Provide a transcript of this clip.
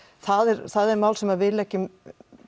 það er það er mál sem við leggjum